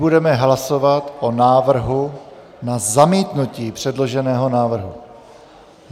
Budeme hlasovat o návrhu na zamítnutí předloženého návrhu.